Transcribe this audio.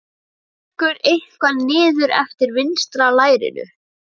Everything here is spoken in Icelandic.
Það lekur eitthvað niður eftir vinstra lærinu.